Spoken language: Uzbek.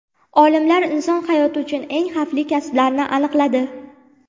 Olimlar inson hayoti uchun eng xavfli kasblarni aniqladi.